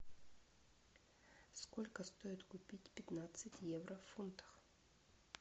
сколько стоит купить пятнадцать евро в фунтах